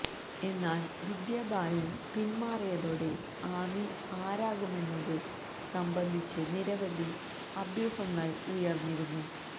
എന്നാല് വിദ്യാബാലന് പിന്മാറിയതോടെ ആമി ആരാകുമെന്നത് സംബന്ധിച്ച് നിരവധി അഭ്യൂഹങ്ങള് ഉയര്ന്നിരുന്നു